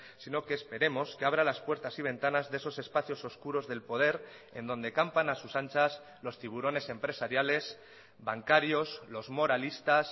sino que esperemos que abra las puertas y ventanas de esos espacios oscuros del poder en donde campan a sus anchas los tiburones empresariales bancarios los moralistas